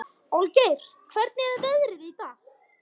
Olgeir, hvernig er veðrið í dag?